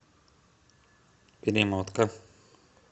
перемотка